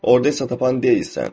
Orda isə tapan deyilsən.